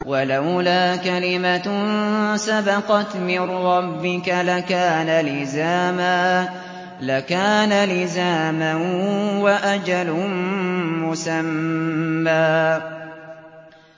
وَلَوْلَا كَلِمَةٌ سَبَقَتْ مِن رَّبِّكَ لَكَانَ لِزَامًا وَأَجَلٌ مُّسَمًّى